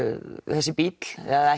þessi bíll eða